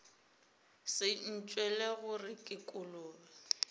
se ntšwele gore ke kolobe